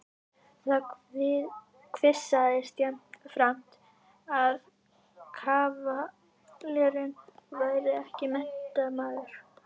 Það kvisaðist jafnframt að kavalérinn væri ekki menntamaður.